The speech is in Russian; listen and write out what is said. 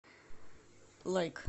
лайк